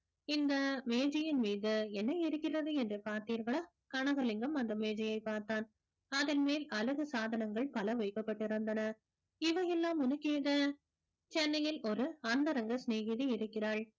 இந்த மேஜையின் மீது என்ன இருக்கிறது என்று பார்த்தீர்களா கனகலிங்கம் அந்த மேஜையை பார்த்தான் அதன் மேல் அழகு சாதனங்கள் பல வைக்கப்பட்டிருந்தன இவையெல்லாம் உனக்கு ஏது சென்னையில் ஒரு அந்தரங்க சினேகிதி இருக்கிறாள்